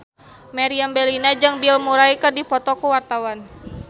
Meriam Bellina jeung Bill Murray keur dipoto ku wartawan